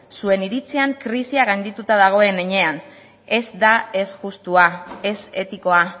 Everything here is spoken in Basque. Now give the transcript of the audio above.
zuen iritzian krisia gaindituta dagoen heinean ez da ez justua ez etikoa